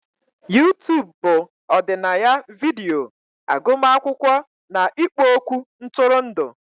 YouTubu bụ ọdịnaya vidiyo, agụmakwụkwọ na ikpo okwu ntụrụndụ.